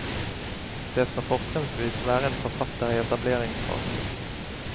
Det skal fortrinnsvis være en forfatter i etableringsfasen.